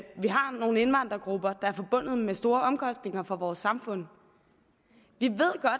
vi har nogle indvandrergrupper som er forbundet med store omkostninger for vores samfund